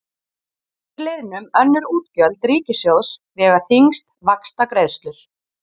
Undir liðnum önnur útgjöld ríkissjóðs vega þyngst vaxtagreiðslur.